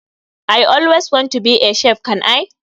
I always want to be a chef can i?